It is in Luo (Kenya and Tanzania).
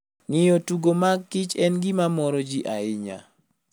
Ng'iyo tugo mag kich en gima moro ji ahinya.